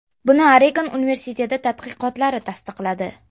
Buni Oregon universiteti tadqiqotlari tasdiqladi.